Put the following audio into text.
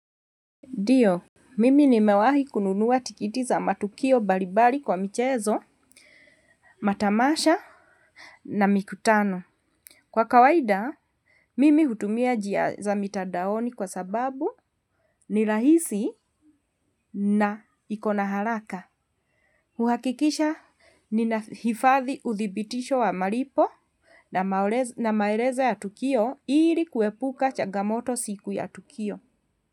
Ndio, mimi nimewahi kununua tikiti za matukio mbalimbali kwa michezo, matamasha na mikutano. Kwa kawaida, mimi hutumia njia za mitandaoni kwa sababu ni rahisi na ikona haraka. Kuhakikisha, ninahifadhi uthibitisho wa malipo na maelezo ya tukio ili kuepuka changamoto siku ya tukio.